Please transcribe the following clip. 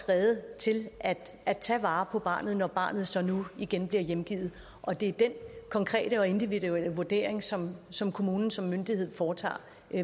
rede til at tage vare på barnet når barnet så igen bliver hjemgivet det er den konkrete og individuelle vurdering som som kommunen som myndighed foretager